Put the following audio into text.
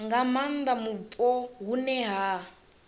nga maanda mupo hune ha